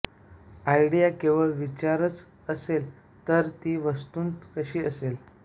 idea केवळ विचारच असेल तर ती वस्तूंत कशी असेल